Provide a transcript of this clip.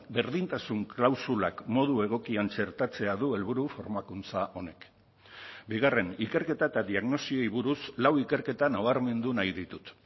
berdintasun klausulak modu egokian txertatzea du helburu formakuntza honek bigarren ikerketa eta diagnosiei buruz lau ikerketa nabarmendu nahi ditut